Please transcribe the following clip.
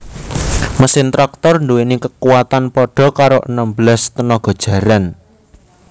Mesin traktor duwéni kekuwatan padha karo enem belas tenaga jaran